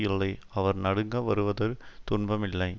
இல்லை அவர் நடுங்க வருவதொரு துன்பம் இல்லை